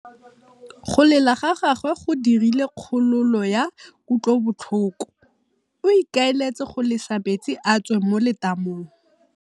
Go lela ga gagwe go dirile kgololô ya kutlobotlhoko. O ikaeletse go lesa metsi a tswe mo letamong.